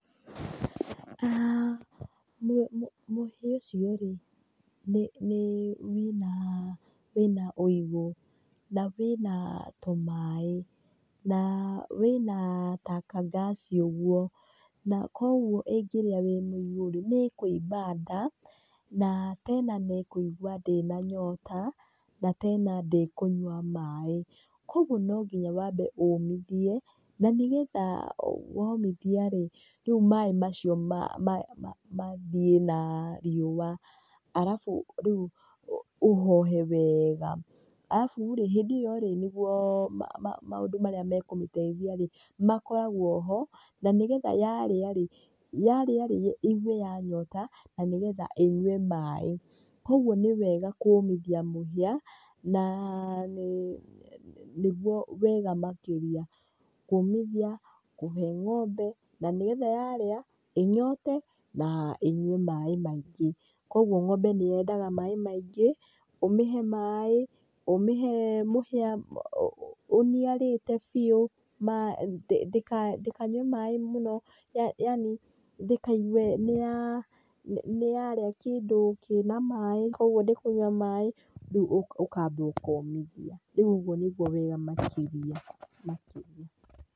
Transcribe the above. Mũhĩa ũcio rĩ wĩna ũigu na wĩna tũmaĩ na wĩna ta ka gas ũguo, koguo ĩngĩrĩa wĩ mũigu rĩ nĩ ĩkũimba nda, na tena nĩ ĩkũigua ndĩna nyota na tena ndĩkũnyua maĩ. Koguo no nginya wambe ũmithie na nĩ getha womithia rĩ rĩu maĩ macio mathiĩ na riũa. Arabu rĩ ũhohe wega, arabu rĩ hĩndĩ ĩyo rĩ nĩguo maũndũ marĩa mekũmĩteithia makoragwo ho na nĩ getha yarĩa rĩ, yarĩa rĩ ĩigue ya nyota na nĩ getha ĩnyue maĩ. Koguo nĩ wega kũmithia mũhia na nĩguo wega makĩria kũmithia, kũhe ng'ombe na nĩ getha yarĩa ĩnyote na nĩ getha ĩnyue maĩ maingĩ. Koguo ng'ombe nĩ yendaga maĩ maingĩ ũmĩhe maĩ, ũmĩhe mũhĩa ũniarĩte biũ, ndĩkanyue maĩ mũno, yani ndĩkaigue nĩ yaria kĩndũ kĩna maĩ koguo ndĩkũnyua maĩ, rĩu ũkamba ũkomithia, rĩu ũguo nĩguo wega makĩria, makĩria.